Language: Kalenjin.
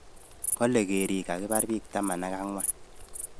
Kale kerik kakibar biik tamn ak angwan